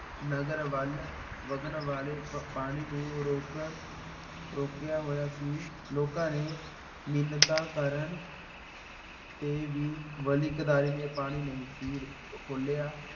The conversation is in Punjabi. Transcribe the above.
ਨਗਰ ਵੱਲ ਵੱਗਣ ਵਾਲੇ ਪ ਪਾਣੀ ਨੂੰ ਰੋਕਣ ਰੋਕਿਆ ਹੋਇਆ ਸੀ। ਲੋਕਾਂ ਨੇ ਮਿੰਨਤਾਂ ਕਰਨ ਤੇ ਵੀ ਵਲੀ ਕੰਧਾਰੀ ਨੇ ਪਾਣੀ ਨਹੀਂ ਸੀ ਖੋਲ੍ਹਿਆ